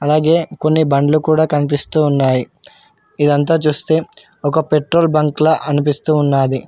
కొన్ని బండ్లు కూడా కనిపిస్తూ ఉన్నాయి ఇదంతా చూస్తే ఒక పెట్రోల్ బంక్ ల అనిపిస్తూ ఉన్నాది.